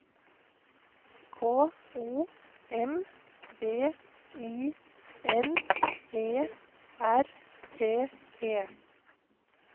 K O M B I N E R T E